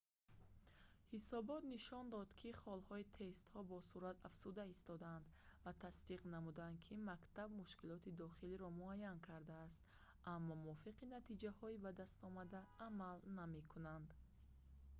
ҳисобот нишон дод ки холҳои тестҳо босуръат афзуда истодаанд ва тасдиқ намуданд ки мактаб мушкилоти дохилиро муайян кардааст аммо мувофиқи натиҷаҳои ба дастомада амал намекунад